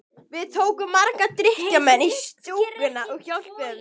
Við tókum marga drykkjumenn í stúkuna og hjálpuðum þeim.